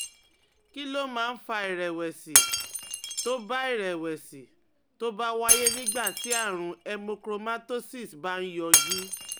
Kí ló máa ń fa ìrẹ̀wẹ̀sì tó bá ìrẹ̀wẹ̀sì tó bá wáyé nígbà tí àrùn hemochromatosis bá ń yọjú?